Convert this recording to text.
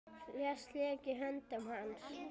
Flest lék í höndum hans.